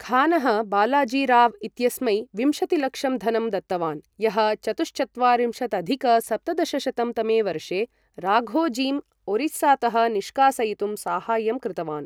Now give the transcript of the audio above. खानः बालाजीराव इत्यस्मै विंशतिलक्षं धनं दत्तवान्, यः चतुश्चत्वारिंशदधिक सप्तदशशतं तमे वर्षे राघोजीम् ओरिस्सातः निष्कासयितुं साहाय्यं कृतवान्।